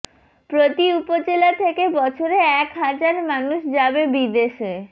প্রতি উপজেলা থেকে বছরে এক হাজার মানুষ যাবে বিদেশে